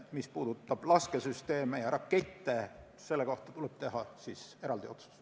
Mis puudutab laskesüsteeme ja rakette, siis selle kohta tuleb teha eraldi otsus.